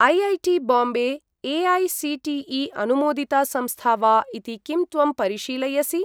IIT Bombay ए.ऐ.सी.टी.ई.अनुमोदिता संस्था वा इति किं त्वं परिशीलयसि?